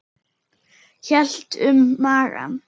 Hélt um magann.